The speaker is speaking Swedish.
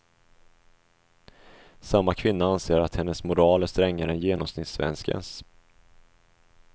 Samma kvinna anser att hennes moral är strängare än genomsnittssvenskens.